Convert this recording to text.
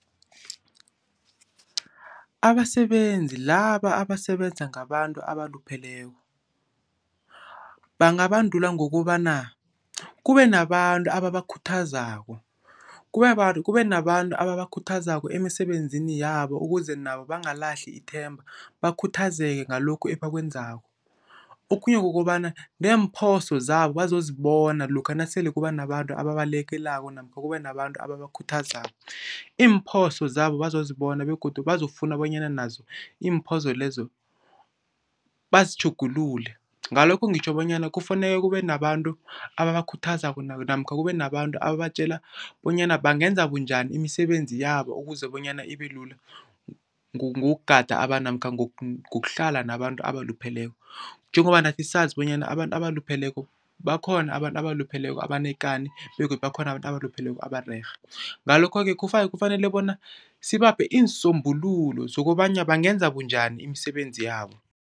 Abasebenzi laba abasebenza ngabantu abalupheleko bangabandulwa ngokobana kube nabantu ababakhuthazako. Kube nabantu Kube nabantu ababakhuthazako emisebenzini yabo ukuze nabo bangalahli ithemba bakhuthazeke ngalokhu ebakwenzako. Okhunye kukobana neemphoso zabo bazozibona lokha nasele kuba nabantu ababalekelelako namkha kube nabantu ababakhuthazako. Iimphoso zabo bazozibona begodu bazofuna bonyana nazo iimphoso lezo bazitjhugulule. Ngalokho ngitjho bonyana kufuneke kube nabantu ababakhuthazako namkha kube nabantu ababatjela bonyana bangenza bunjani imisebenzi yabo ukuze bonyana ibelula ngokugada abantu namkha ngokuhlala nabantu abalupheleko. Njengoba nathi sazi bonyana abantu abalupheleko, bakhona abantu abalupheleko abanekani begodu bakhona abantu abalupheleko abarerhe. Ngalokho-ke kufanele bona sibaphe iinsombululo zokobanyana bangenza bunjani imisebenzi yabo.